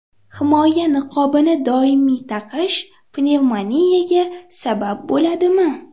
Himoya niqobini doimiy taqish pnevmoniyaga sabab bo‘ladimi?